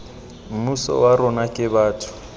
mmuso wa rona ke batho